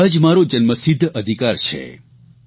સ્વરાજ મારો જન્મસિદ્ધ અધિકાર છે